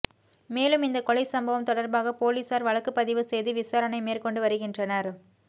மேலும் இந்த கொலை சம்பவம் தொடர்பாக போலீசார் வழக்குப் பதிவுசெய்து விசாரணை மேற்கொண்டு வருகின்றனர்